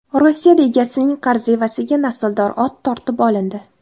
Rossiyada egasining qarzi evaziga nasldor ot tortib olindi.